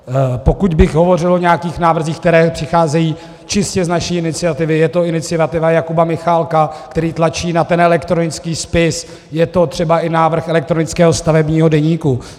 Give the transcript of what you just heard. Pokud bych hovořil o nějakých návrzích, které přicházejí čistě z naší iniciativy, je to iniciativa Jakuba Michálka, který tlačí na ten elektronický spis, je to třeba i návrh elektronického stavebního deníku.